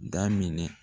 Daminɛ